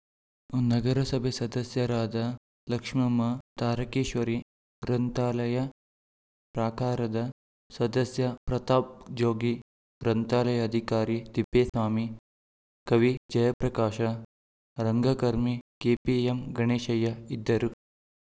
ನಗರಸಭೆ ಸದಸ್ಯರಾದ ಲಕ್ಷ್ಮಮ್ಮ ತಾರಕೇಶ್ವರಿ ಗ್ರಂಥಾಲಯ ಪ್ರಾಕಾರದ ಸದಸ್ಯ ಪ್ರತಾಪ್‌ ಜೋಗಿ ಗ್ರಂಥಾಲಯ ಅಧಿಕಾರಿ ತಿಪ್ಪೇಸ್ವಾಮಿ ಕವಿ ಜಯಪ್ರಕಾಶ ರಂಗಕರ್ಮಿ ಕೆಪಿಎಂ ಗಣೇಶಯ್ಯ ಇದ್ದರು